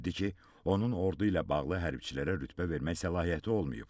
Bildirdi ki, onun ordu ilə bağlı hərbiçilərə rütbə verməyə səlahiyyəti olmayıb.